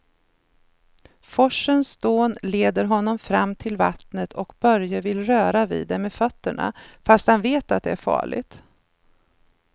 Forsens dån leder honom fram till vattnet och Börje vill röra vid det med fötterna, fast han vet att det är farligt.